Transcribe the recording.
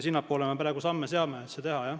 Sinnapoole me praegu samme seame, et seda teha.